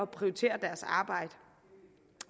prioritere deres arbejde